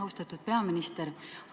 Austatud peaminister!